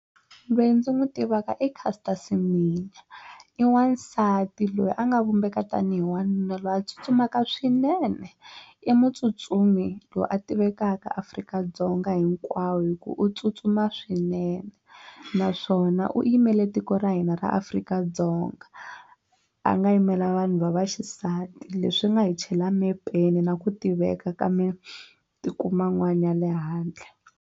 Loyi ndzi n'wi tivaka i Caster Semenya i wansati loyi a nga vumbeka tanihi wanuna loyi a tsutsumaka swinene i mutsutsumi loyi a tivekaka Afrika-Dzonga hinkwawo hi ku u tsutsuma swinene naswona u yimele tiko ra hina ra Afrika-Dzonga a nga yimela vanhu va vaxisati leswi nga hi chela mepeni na ku tiveka ka matiko man'wana ya le handle.